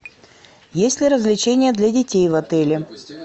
есть ли развлечения для детей в отеле